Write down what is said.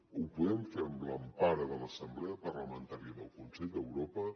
ho podem fer amb l’empara de l’assemblea parlamentària del consell d’europa